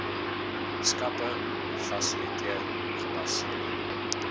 skappe fasiliteer gebaseer